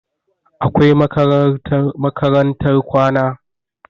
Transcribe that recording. Akwai makarantar kwana